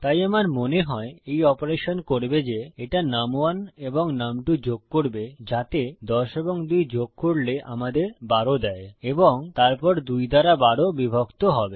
তাই আমার মনে হয় এই অপারেশন করবে যে এটা নুম1 এবং নুম2 যোগ করবে যাতে ১০ এবং ২ যোগ করলে আমাদের ১২ দেয় এবং তারপর ২ দ্বারা ১২ বিভক্ত হবে